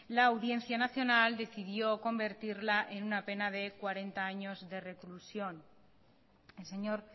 la audiencia nacional decidió convertirla en una pena de cuarenta años de reclusión el señor